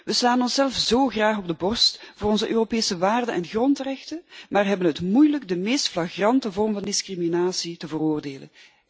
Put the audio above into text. We slaan onszelf zo graag op de borst voor onze Europese waarden en grondrechten, maar hebben het moeilijk de meest flagrante vorm van discriminatie te veroordelen.